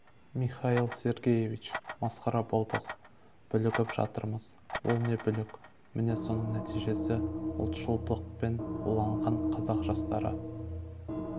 михаил сергеевич масқара болдық бүлігіп жатырмыз ол не бүлк міне соның нәтижесі ұлтшылдықпен уланған қазақ жастары